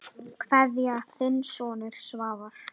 Kveðja, þinn sonur Svavar.